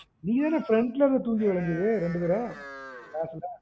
நீ தான front ல இருந்து தூங்கி வழிஞ்சது ரெண்டு தடவ class ல